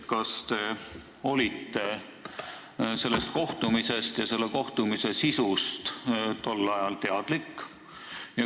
Kas te olite sellest kohtumisest ja selle kohtumise sisust tol ajal teadlik?